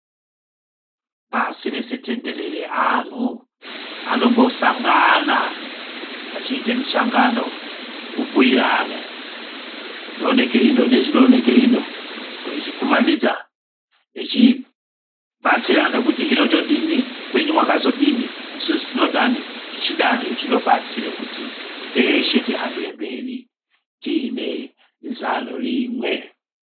Pasirese tenderere anthu anombosangana achiite misangano kubhuyirana zvinooneke ino nezvinooneke ino veizvikumanidza, vechibatsirana kuti hino todini kwenyu makazodini, isusu tinodani tichidani zvinobatsire kuti teshe tihambire mberi tiine zano rimwe.